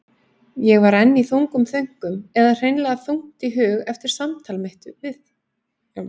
Ég var enn í þungum þönkum eða hreinlega þungt í hug eftir samtal mitt við